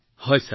হয় মহোদয়